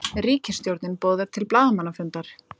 Ríkisstjórnin boðar til blaðamannafundar